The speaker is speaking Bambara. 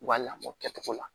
U b'a lamɔ kɛcogo la